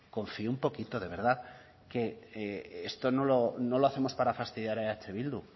confíe un poquito de verdad que no lo hacemos para fastidiar a eh bildu